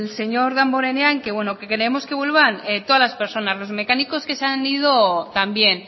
señor damborenea en que creemos que vuelvan todos las personas los mecánicos que se han ido también